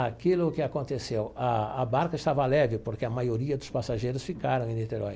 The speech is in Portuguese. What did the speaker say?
Aquilo que aconteceu, a a barca estava leve, porque a maioria dos passageiros ficaram em Niterói.